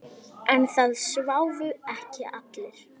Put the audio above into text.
En það sváfu ekki allir.